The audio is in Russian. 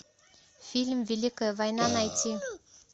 фильм великая война найти